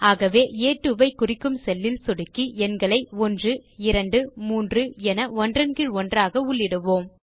ஆகவே ஆ2 ஐ குறிக்கும் செல்லில் சொடுக்கி எண்களை 123 என ஒன்றன் கீழ் ஒன்றாக உள்ளிடுவோம்